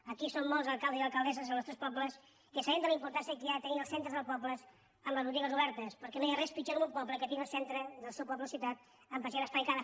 aquí som molts alcaldes i alcaldesses dels nostres pobles que sabem la importància de tenir els centres dels pobles amb les botigues obertes perquè no hi ha res pitjor en un po·ble que tenir el centre del seu poble o ciutat amb per·sianes tancades